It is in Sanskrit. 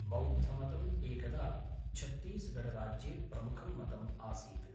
बौद्धमतम् एकदा छत्तीसगढ़राज्ये प्रमुखं मतम् आसीत्।